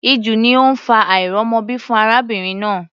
Ìju ni ó ń fa àìrọ́mọbí fún arábìnrin náà.